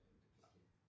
Som vi skal